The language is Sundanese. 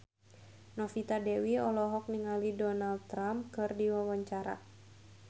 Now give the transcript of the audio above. Novita Dewi olohok ningali Donald Trump keur diwawancara